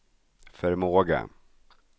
förmåga